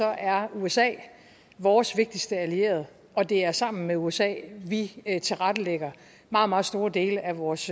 er usa vores vigtigste allierede og det er sammen med usa vi tilrettelægger meget meget store dele af vores